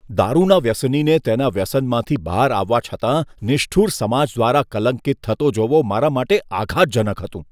દારૂના વ્યસનીને તેના વ્યસનમાંથી બહાર આવવા છતાં નિષ્ઠુર સમાજ દ્વારા કલંકિત થતો જોવો મારા માટે આઘાતજનક હતું.